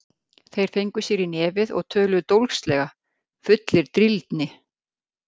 Þeir fengu sér í nefið og töluðu dólgslega, fullir drýldni.